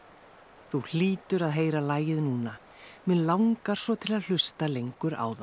þú hlýtur að heyra lagið núna mig langar svo til að hlusta lengur á það